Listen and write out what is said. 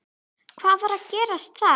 Hvað var að gerast þar?